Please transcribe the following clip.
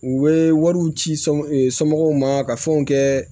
U bɛ wariw ci somɔgɔw ma ka fɛnw kɛ